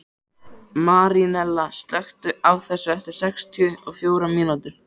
Marínella, slökktu á þessu eftir sextíu og fjórar mínútur.